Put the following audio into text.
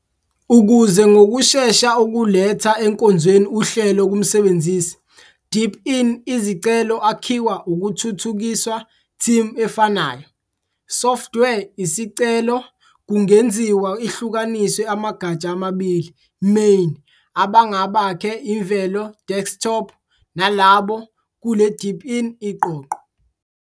Ukuze ngokushesha ukuletha enkonzweni uhlelo kumsebenzisi, deepin izicelo akhiwa ukuthuthukiswa team efanayo. Software Isicelo kungenziwa ihlukaniswe amagatsha amabili main- abangabaKhe imvelo desktop nalabo kule deepin iqoqo.